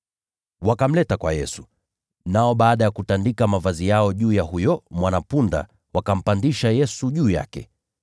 Wakamleta kwa Yesu, nao baada ya kutandika mavazi yao juu ya huyo mwana-punda, wakampandisha Yesu juu yake.